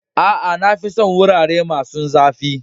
Aa, na fi son wurare masun zafi.